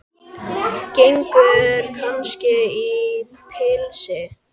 Gengur kannski í pilsi?